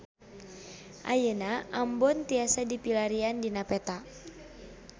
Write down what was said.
Ayeuna Ambon tiasa dipilarian dina peta